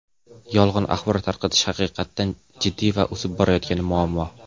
Yolg‘on axborot tarqatish haqiqatan jiddiy va o‘sib borayotgan muammo.